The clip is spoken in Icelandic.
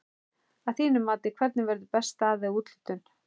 Að þínu mati hvernig verður best staðið að úthlutun?